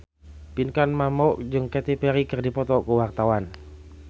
Pinkan Mambo jeung Katy Perry keur dipoto ku wartawan